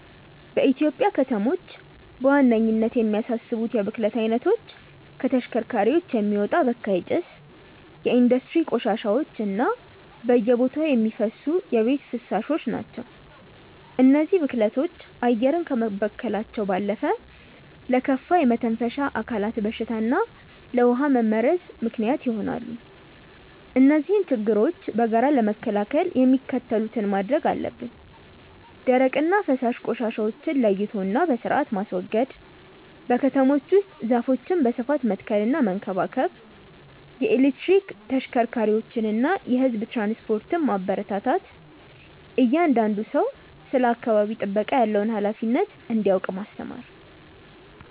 በኢትዮጵያ ከተሞች በዋነኝነት የሚያሳስቡት የብክለት አይነቶች ከተሽከርካሪዎች የሚወጣ በካይ ጭስ፣ የኢንዱስትሪ ቆሻሻዎች እና በየቦታው የሚፈሱ የቤት ፍሳሾች ናቸው። እነዚህ ብክለቶች አየርን ከመበከላቸው ባለፈ ለከፋ የመተንፈሻ አካላት በሽታ እና ለውሃ መመረዝ ምክንያት ይሆናሉ። እነዚህን ችግሮች በጋራ ለመከላከል የሚከተሉትን ማድረግ አለብን፦ ደረቅና ፈሳሽ ቆሻሻዎችን ለይቶና በስርአት ማስወገድ። በከተሞች ውስጥ ዛፎችን በስፋት መትከልና መንከባከብ። የኤሌክትሪክ ተሽከርካሪዎችንና የህዝብ ትራንስፖርትን ማበረታታት። እያንዳንዱ ሰው ስለ አካባቢ ጥበቃ ያለውን ሃላፊነት እንዲያውቅ ማስተማር።